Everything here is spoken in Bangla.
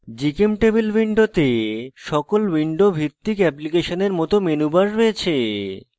gchemtable window সকল window ভিত্তিক অ্যাপ্লিকেশনের মত মেনু based রয়েছে